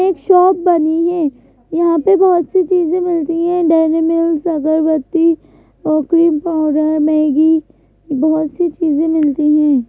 एक शॉप बनी है यहां पे बहुत सी चीजें मिलती है डेरी मिल्स अगरबत्ती ओ क्रीम पाउडर मैगी बहुत सी चीजें मिलती हैं.